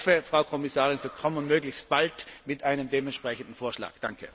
Ich hoffe, Frau Kommissarin, Sie kommen möglichst bald mit einem dementsprechenden Vorschlag.